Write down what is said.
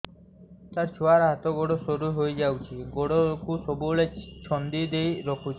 ସାର ଛୁଆର ହାତ ଗୋଡ ସରୁ ହେଇ ଯାଉଛି ଗୋଡ କୁ ସବୁବେଳେ ଛନ୍ଦିଦେଇ ରଖୁଛି